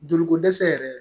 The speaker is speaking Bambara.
Joliko dɛsɛ yɛrɛ